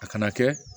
A kana kɛ